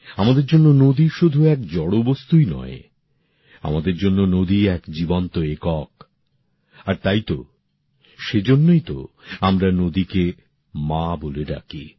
আমাদের জন্য নদী শুধু এক জড় বস্তুই নয় আমাদের জন্য নদী এক জীবন্ত একক আর তাই তো সেইজন্যই তো আমরা নদীকে মা বলে ডাকি